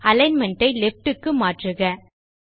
alignment ஐ left க்கு மாற்றுக